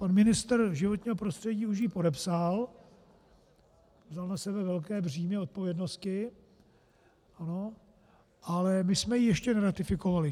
Pan ministr životního prostředí už ji podepsal, vzal na sebe velké břímě odpovědnosti, ale my jsme ji ještě neratifikovali.